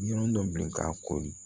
Ɲɔnɔ dɔ bila ka kori